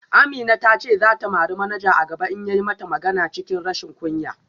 Amina ta ce za ta mari manaja a gaba in ya yi mata magana cikin rashin kunya